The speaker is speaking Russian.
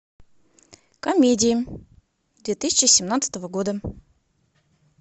комедии две тысячи семнадцатого года